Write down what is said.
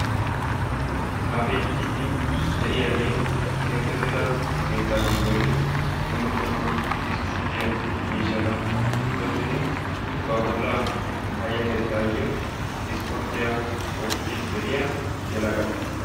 Keexettidda keetta giddon dumma dumma issipporttiya miishshatta go'ettiddi ba bolla minttiya yelaga.